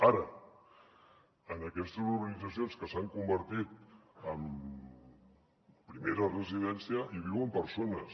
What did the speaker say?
ara en aquestes urbanitzacions que s’han convertit en primera residència hi viuen persones